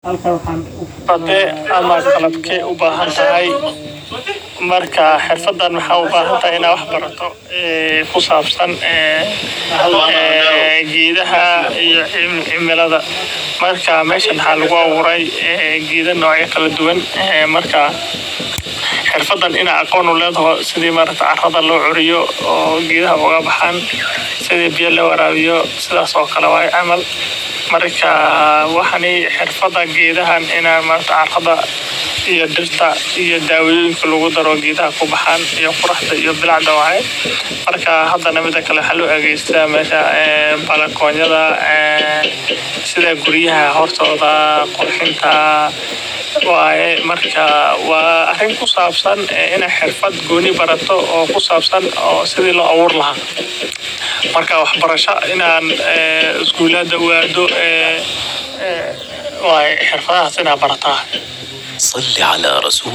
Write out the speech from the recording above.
Xirfadan waxa ubahante in wax barato kusabsan gedeha iyo cimilada. Meshan waxa lagu abure geda kala duwan. Xirfadan in aqon uledehe sida carada lucuriyo oo gedaha ogabaxan, sida lowarabiyo. Gedeha iyo diirta iyo dawoyinka lagudaro oo kubaxan. Bilicda waxa loadegsada balcony sida guryaha hoostoda. Waarin kusabsan barashada xirfaad siida lobera gedaha. Waa ina skuul uada barashadoda